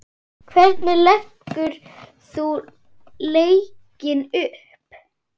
Hvernig leggur þú leikinn upp?